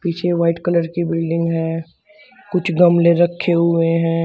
पीछे white colour की building है कुछ गमले रखे हुए हैं।